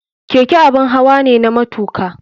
Keke abun hawa ne na matuka.